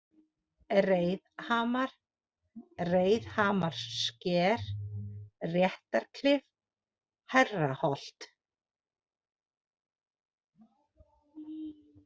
Reiðhamar, Reiðhamarssker, Réttarklif, Hærraholt